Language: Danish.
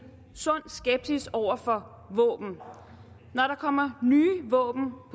sund skepsis over for våben når der kommer nye våben på